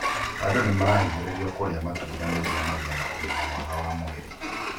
Andũ nĩmarahinyĩrĩrio kũria matunda nĩguo magie na ũgima mwega wa mwĩri.